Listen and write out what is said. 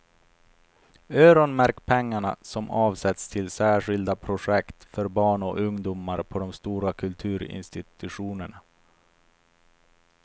Öronmärk pengar som avsätts till särskilda projekt för barn och ungdomar på de stora kulturinstitutionerna.